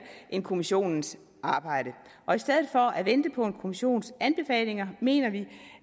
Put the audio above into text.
end kommissionens arbejde og i stedet for at vente på en kommissions anbefalinger mener vi